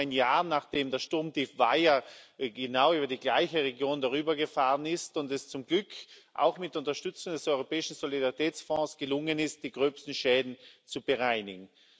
Das nur ein Jahr, nachdem das Sturmtief Vaia genau über die gleiche Region gezogen ist und es zum Glück auch mit Unterstützung des Europäischen Solidaritätsfonds gelungen ist, die gröbsten Schäden zu bereinigen.